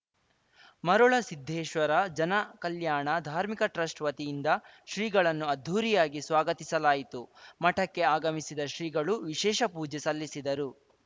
ಮರುಳ ಸಿದ್ದೇಶ್ವರ ಜನ ಕಲ್ಯಾಣ ಧಾರ್ಮಿಕ ಟ್ರಸ್ಟ್‌ ವತಿಯಿಂದ ಶ್ರೀಗಳನ್ನು ಅದ್ದೂರಿಯಾಗಿ ಸ್ವಾಗತಿಸಲಾಯಿತು ಮಠಕ್ಕೆ ಆಗಮಿಸಿದ ಶ್ರೀಗಳು ವಿಶೇಷ ಪೂಜೆ ಸಲ್ಲಿಸಿದರು